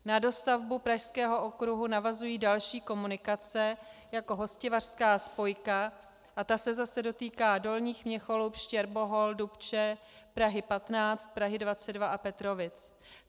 Na dostavbu Pražského okruhu navazují další komunikace, jako Hostivařská spojka, a ta se zase dotýká Dolních Měcholup, Štěrbohol, Dubče, Prahy 15, Prahy 22 a Petrovic.